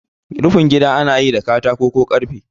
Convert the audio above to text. Rufin gida anayi da katako ko karfe